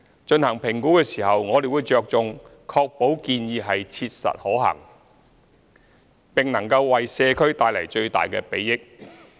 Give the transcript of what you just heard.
進行評估時，我們着重確保建議是切實可行，並能為社區帶來最大的裨益。